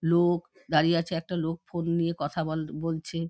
লো-ক দাঁড়িয়ে আছে একটা লোক ফোন নিয়ে কথা বল বলছে।